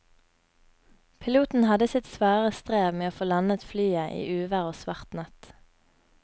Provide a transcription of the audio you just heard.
Piloten hadde sitt svare strev med å få landet flyet i uvær og svart natt.